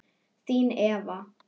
Þín, Eva.